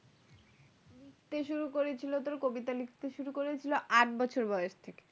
লিখতে শুরু করেছিল তোর কবিতা লিখতে শুরু করেছিল আট বছর বয়স থেকে